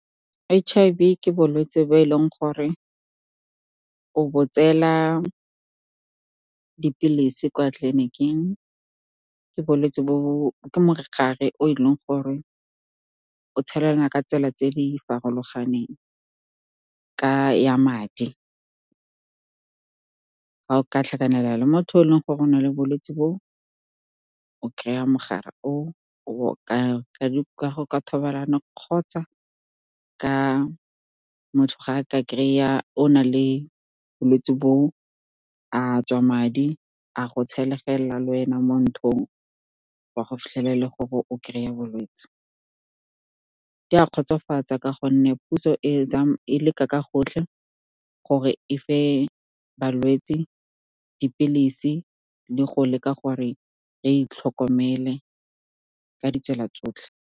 H_I_V ke bolwetse bo e leng gore o bo tsela dipilisi kwa tleliniking ke bolwetse bo ke mokgware o e leng gore o tshelana ka tsela tse di farologaneng. Ka ya madi ka tlhakanela le motho o e leng gore o na le bolwetse bo o kry-a mogare o o ka ka thobalano kgotsa ka motho ga a ka kry-a o na le bolwetsi bo a tswa madi a go tshelegela lwena mo ntlong wa go fitlhelela gore o kry-a bolwetsi ke a kgotsofatsa ka gonne puso e e leka ka gotlhe gore fa balwetsi dipilisi le go leka gore re itlhokomele ka ditsela tsotlhe.